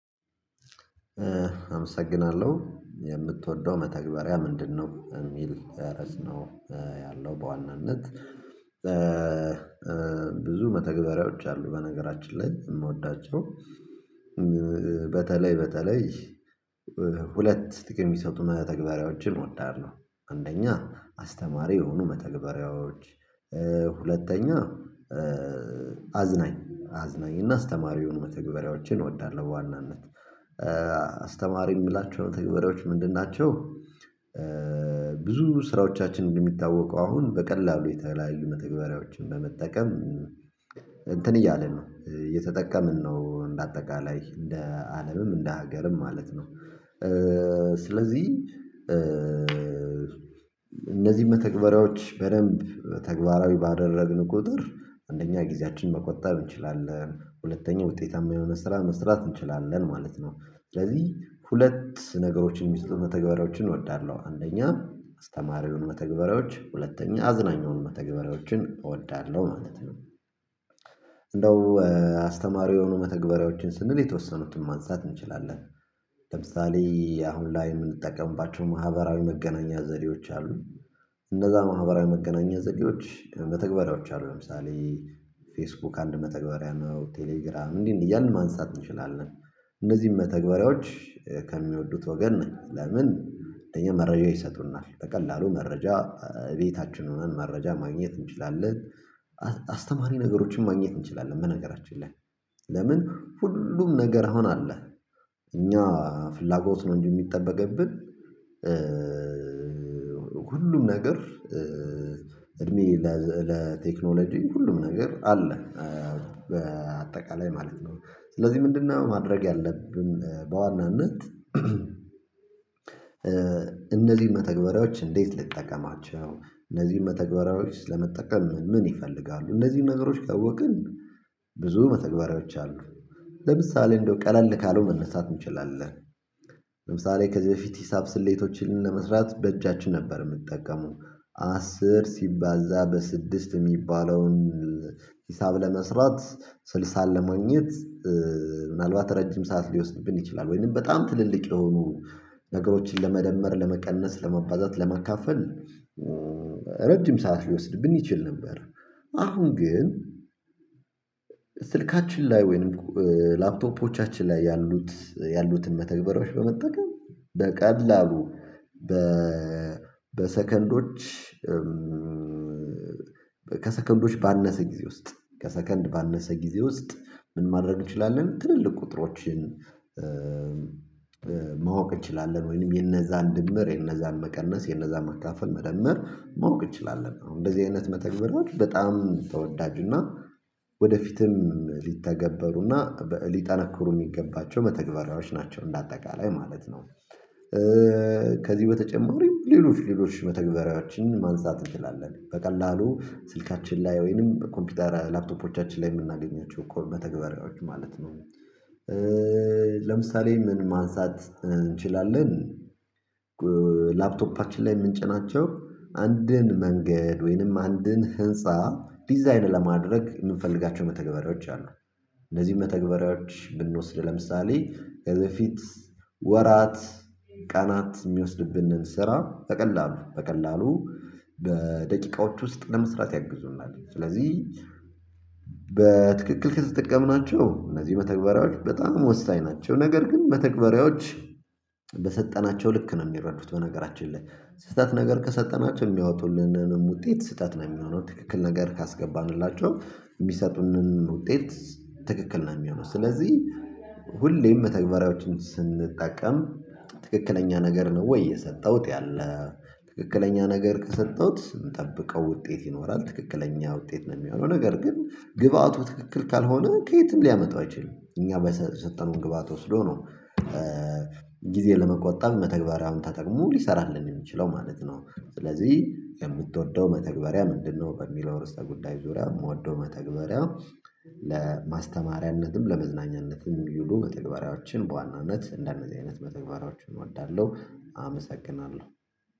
አመሰግናለሁ የምትወደው መተግበሪያ ምንድነው የሚል ርዕስ ነው። ያለው በዋናነት ብዙ መተግበሪያዎች አሉ በነገራችን ላይ የምወዳቸው በተለይ በተለይ ሁለት ጥቅም የሚሰጡ መተግበሪያዎችን እወዳለሁ። አንደኛ አስተማሪ የሆኑ መተግበሪያዎች ሁለተኛ አዝናኝ አዝናኝ እና አስተማሪ የሆኑ መተግበሪያዎችን እወዳለሁ በዋናነት አስተማ የምላቸው መተግበሪያዎች ምንድን ናቸው? ብዙ ስራዎቻችን እንደሚታወቁ አሁን በቀላሉ የተለያዩ መተግበሪያዎችን በመጠቀም እንትን እያለን ነው እየተጠቀምን ነው እንደ አጠቃላይ እንደ አለምም እንደ ሀገርም ማለት ነው። ስለዚህ እነዚህ መተግበሪያዎች በደንብ ተግባራዊ ባደረግን ቁጥር አንደኛ ጊዜያችን መቆጣብ እንችላለን ሁለተኛ ውጤታማ የሆነ ስራ መስራት እንችላለን ማለት ነው። ስለዚህ ሁለት ነገሮችን የሚሰጡ መተግበሪያዎችን እወዳለሁ አንደኛ አስተማሪውን መተግበሪያዎች ሁለተኛ አዝናኝ የሆኑ መተግበሪያዎችን እወዳለሁ ማለት ነው። እንደው አስተማሪ የሆኑ መተግበሪያዎችን ስንል የተወሰኑትን ማንሳት እንችላለን። ለምሳሌ አሁን ላይ የምንጠቀምባቸው ማህበራዊ መገናኛ ዘዴዎች አሉ። እንነዛ ማህበራዊ መገናኛ ዘዴዎች መተግበሪያዎች አሉ ለምሳሌ ፌስቡክ አንድ መተግበሪያ ነው። ቴሌግራም እንዲህ እንዲህ እያልን ማንሳት እንችላለን። እነዚህን መተግበሪያዎች ከሚወዱት ወገን ነኝ። ለምን? ለኛ መረጃ ይሰጡናል በቀላሉ መረጃ ቤታችን ሁነን መረጃ ማግኘት እንችላለን። አስ አስተማሪ ነገሮችን ማግኘት እንችላለን። በነገራችን ላይ ለምን ሁሉም ነገር አሁን አለ። እኛ ፍላጎት ነው እንጂ የሚጠበቅብን ሁሉም ነገር እድሜ ለቴክኖሎጂ ሁሉም ነገር አለ በአጠቃላይ ማለት ነው። ስለዚህ ምንድነው ማድረግ ያለብን? በዋናነት እነዚህን መተግበሪያዎች እንዴት ልጠቀማቸው? እነዚህን መተግበሪያዎች ለመጠቀም ምን ይፈልጋሉ እነዚህን ነገሮች ካወቅን። ብዙ መተግበሪያዎች አሉ ለምሳሌ እንደው ቀለል ካለው መነሳት እንችላለን። ለምሳሌ ከዚህ በፊት ሂሳብ ስሌቶችን ለመስራት በእጃችን ነበር የምትጠቀመው አስር ሲባዛ በስድስት የሚባለውን ሂሳብ ለመስራት ስልሳን ለማግኘት ምናልባት ረጅም ሰዓት ሊወስድብን ይችላል ወይም በጣም ትልልቅ የሆኑ ነገሮችን ለመደመር ለመቀነስ ለማባዛት ለማካፈል ረጅም ሰዓት ሊወስድብን ይችል ነበር። አሁን ግን ስልካችን ላይ ወይንም ላፕቶፖቻችን ላይ ያሉት ያሉትን መተግበሪያዎች በመጠቀም በቀላሉ። በሰከንዶች። ከሰከንዶች ባነሰ ጊዜ ውስጥ ከሰከንድ ባነሰ ጊዜ ውስጥ ምን ማድረግ እንችላለን? ትልልቅ ቁጥሮችን ማወቅ እንችላለን። ወይንም የነዛን ድምር የነዛን መቀነስ የነዛን መካፈል መደመር ማወቅ እንችላለን። አሁን እንደዝህ አይነት መተግበሪያዎችን በጣም ተወዳጅና ወደፊትም ሊተገበሩና ሊጠነክሩ የሚገባቸው መተግበሪያዎች ናቸው እንደ አጠቃላይ ማለት ነው። ከዚህ በተጨማሪም ሌሎች ሌሎች መተግበሪያዎችን ማንሳት እንችላለን በቀላሉ ስልካችን ላይ ወይንም ኮምፒውተር ላፕቶፖቻችን ላይ የምናገኛቸው እኮ መተግበሪያዎች ማለት ነው። ለምሳሌ ምን ማንሳት እንችላለን? ጎ ላፕቶፓችን ላይ የምንጭናቸው አንድን መንገድ ወይንም አንድን ህንፃ ዲዛይን ለማድረግ የምንፈልጋቸው መተግበሪያዎች አሉ። እነዚህን መተግበሪያዎች ብንወስድ ለምሳሌ ከዚህ በፊት ወራት ቀናት የሚወስድብንን ስራ በቀላሉ በቀላሉ በደቂቃዎች ውስጥ ለመስራት ያግዙናል። ስለዚህ በትክክል ከተጠቀምናቸው እነዚህ መተግበሪያዎች በጣም ወሳኝ ናቸው። ነገር ግን መተግበሪያዎች በሰጠናቸው ልክ ነው የሚረዱት በነገራችን ላይ። ስህተት ነገር ከሰጠናቸው የሚያወጡልን ውጤት ስህተት ነው የሚሆነው። ትክክል ነገር ካስገባንላቸው የሚሰጡንን ውጤት ትክክል ነው የሚሆነው። ስለዚህ ሁሌም መተግበሪያዎችን ስንጠቀም ትክክለኛ ነገር ነው ወይ የሰጠውት ያለ ትክክለኛ ነገር ከሰጠሁት ምንጠብቀው ውጤት ይኖራል። ትክክለኛ ውጤት ነው የሚሆነው ነገር ግን ግብአቱ ትክክል ካልሆነ ከየትም ሊያመጣው አይችልም። እኛ በሰሰጠነው ግብአት ወስዶ ነው። ለመቆጠብ መተግበሪያውን ተጠቅሞ ሊሰራልን የሚችለው ማለት ነው። ስለዚህ የምትወደው መተግበሪያ ምንድነው? በሚለው ርዕሰ ጉዳይ ዙሪያ የምወደው መተግበሪያ ለማስተማሪያነትም ለመዝናኛነትም የሚሉ መተግበሪያዎችን በዋናነት እንደነዚህ አይነት መተግበሪያዎችን እወዳለሁ። አመሰግናለሁ